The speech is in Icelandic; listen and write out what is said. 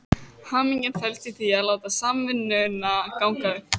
Hamingjan felst í því að láta samvinnuna ganga upp.